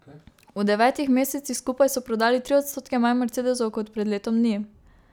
V devetih mesecih skupaj so prodali tri odstotke manj mercedesov kot pred letom dni.